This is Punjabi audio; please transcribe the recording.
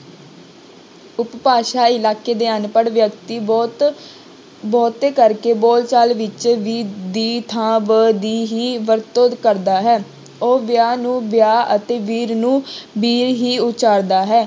ਉਪਭਾਸ਼ਾਈ ਇਲਾਕੇ ਦੇ ਅਨਪੜ੍ਹ ਵਿਅਕਤੀ ਬਹੁਤ ਬਹੁਤੇ ਕਰਕੇ ਬੋਲਚਾਲ ਵਿੱਚ ਵੀ ਦੀ ਥਾਂ ਬ ਦੀ ਹੀ ਵਰਤੋਂ ਕਰਦਾ ਹੈ, ਉਹ ਵਿਆਹ ਨੂੰ ਬਿਆਹ ਅਤੇ ਵੀਰ ਨੂੰ ਬੀਰ ਹੀ ਉਚਾਰਦਾ ਹੈ।